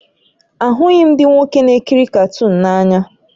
Ahụghị m ndị nwoke na-ekiri katuunu n'anya